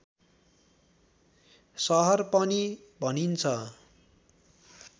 सहर पनि भनिन्छ